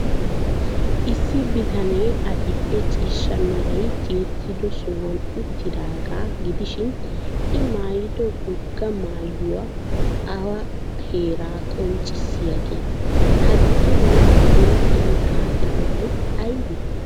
Issi bitanee adil''e ciishsha meray tiyettido sohuwan uttidaagaa gidishin, l maayido wogaa maayoy awa heeraa qonccissiyaagee? Ha bitanee ba huuphiyan xaaxidobay aybee?